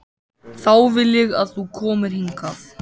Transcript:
Þá vil ég að þú komir hingað!